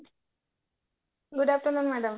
good afternoon madam